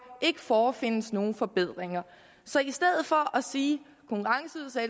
ikke forefindes nogen forbedringer så i stedet for at sige